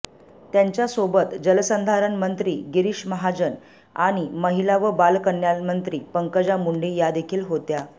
त्यांच्यासोबत जलसंधारण मंत्री गिरीश महाजन आणि महिला व बालकल्याणमंत्री पंकजा मुंडे यादेखील होत्या